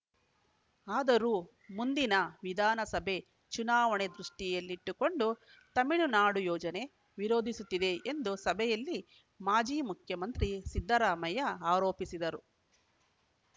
ಆದರೂ ಮುಂದಿನ ವಿಧಾನಸಭೆ ಚುನಾವಣೆ ದೃಷ್ಟಿಯಲ್ಲಿಟ್ಟುಕೊಂಡು ತಮಿಳುನಾಡು ಯೋಜನೆ ವಿರೋಧಿಸುತ್ತಿದೆ ಎಂದು ಸಭೆಯಲ್ಲಿ ಮಾಜಿ ಮುಖ್ಯಮಂತ್ರಿ ಸಿದ್ದರಾಮಯ್ಯ ಆರೋಪಿಸಿದರು